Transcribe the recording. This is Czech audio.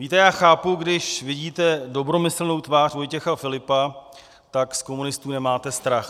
Víte, já chápu, když vidíte dobromyslnou tvář Vojtěcha Filipa, tak z komunistů nemáte strach.